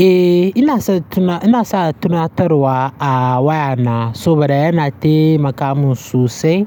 Eh, ina sa tunatarwa a wayana saboda yana taimaka min sosai.